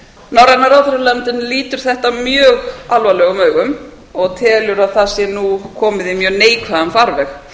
norræna ráðherranefndin lítur þetta mjög alvarlegum augum og telur að það sé nú komið í mjög neikvæðan farveg